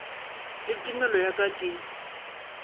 le tumelo ya ka ke